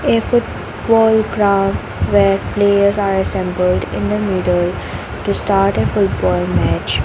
a foot ball ground where players are assembled in the middle to start a football match .